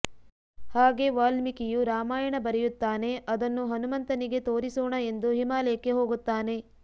ಹಾಗೆ ವಾಲ್ಮೀಕಿಯು ರಾಮಾಯಣ ಬರೆಯುತ್ತಾನೆ ಆದನ್ನು ಹನುಮಂತನಿಗೆ ತೋರಿಸೋಣ ಎಂದು ಹಿಮಾಲಯಕ್ಕೆ ಹೋಗುತ್ತಾನೆ